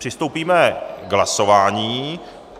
Přistoupíme k hlasování.